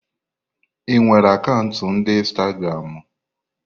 Ị nwere akaụntụ ndi Instagramu?